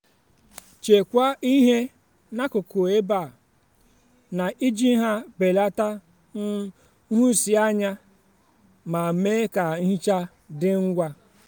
chekwaa ihe n'akụkụ ebe a na-eji ha belata um nhụsianya ma mee ka nhicha dị ngwa.